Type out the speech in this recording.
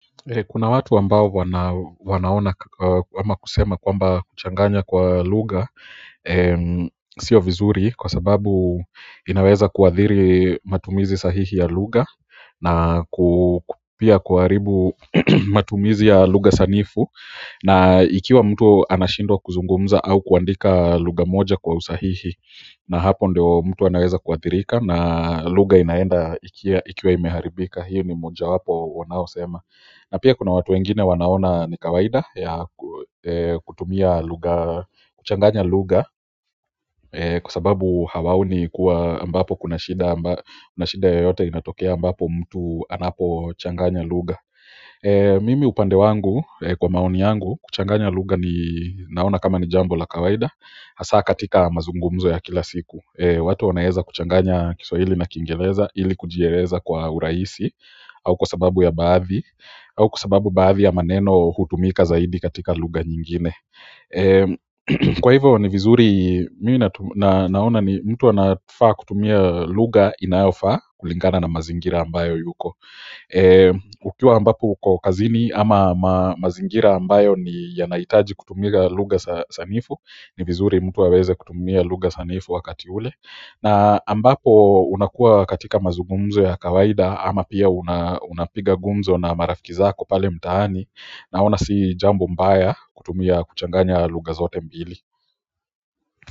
Kuna watu ambao wanaona ama kusema kwamba kuchanganya kwa lugha sio vizuri kwa sababu inaweza kuadhiri matumizi sahihi ya lugha na ku pia kuharibu matumizi ya lugha sanifu na ikiwa mtu anashindwa kuzungumza au kuandika lugha moja kwa usahihi na hapo ndio mtu anaweza kuadhirika na lugha inaenda ikiwa imeharibika hiyo ni moja wapo wanaosema na pia kuna watu wengine wanaona ni kawaida ya kutumia lugha, kuchanganya lugha kwa sababu hawaoni kuwa ambapo kuna shida yoyote inatokea ambapo mtu anapochanganya lugha mimi upande wangu kwa maoni yangu kuchanganya lugha ni naona kama ni jambo la kawaida hasaa katika mazungumzo ya kila siku watu wanaeza kuchanganya kiswahili na kingereza, ili kujieleza kwa urahisi au kwa sababu ya baadhi, au kwa sababu baadhi ya maneno hutumika zaidi katika lugha nyingine kwa hivyo ni vizuri mimi naona ni mtu anafaa kutumia lugha inayofaa kulingana na mazingira ambayo yuko ukiwa ambapo uko kazini ama mazingira ambayo ni yanahitaji kutumia lugha sanifu ni vizuri mtu aweze kutumia lugha sanifu wakati ule na ambapo unakuwa katika mazugumzo ya kawaida ama pia unapiga gumzo na marafiki zako pale mtaani naona si jambo mbaya kutumia kuchanganya lugha zote mbili.